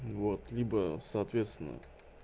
вот либо соответственно